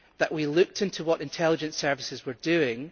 we looked into what intelligence services were doing.